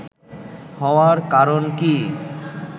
হওয়ার কারণ কি